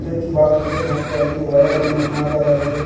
Switch box ಇದೆ ಮತ್ತು ಅಲ್ಲಿ ವೈಯರ್ ಅನ್ನು ಹಾಕಲಾಗಿದೆ.